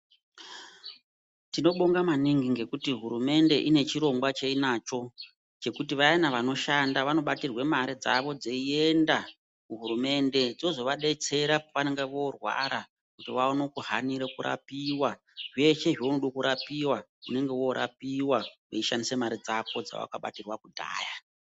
Tinobonga maningi ngekuti hurumende ine chirongwa cheinacho chekuti vayana vanoshanda vanobatirwe mari dzavo dzeiyenda kuhurumende dzozovabetsera pavanonga vorwara kuti vaone kuhanira kurapiwa zveshe zvounoda kurapiwa unenge worapiwa weishandise mari dzako dzawaka batirwe kudhaya.